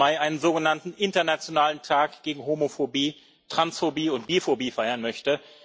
17. Mai einen sogenannten Internationalen Tag gegen Homophobie, Transphobie und Biphobie feiern möchte.